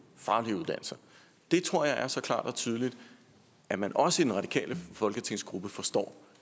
faglige uddannelser det tror jeg er så klart og tydeligt at man også i den radikale folketingsgruppe forstår